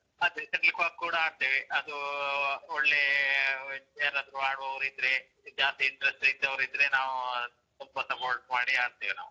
ಅದೇ, shuttlecock ಕೂಡ ಆಡ್ತೇವೆ. ಅದೂ ಒಳ್ಳೇ, ಯಾರಾದ್ರೂ ಆಡುವವರಿದ್ರೆ, ಜಾಸ್ತಿ interest ಇದ್ದವರಿದ್ರೆ ನಾವು ಸ್ವಲ್ಪ support ಮಾಡಿ ಆಡ್ತೇವೆ ನಾವು.